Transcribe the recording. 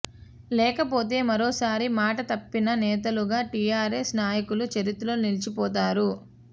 లేకపోతే మరోసారి మాట తప్పిన నేతలుగా టీఆర్ ఎస్ నాయకులు చరిత్రలో నిలిచిపోతారు